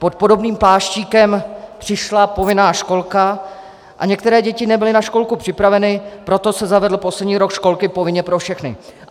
Pod podobným pláštíkem přišla povinná školka a některé děti nebyly na školku připraveny, proto se zavedl poslední rok školky povinně pro všechny.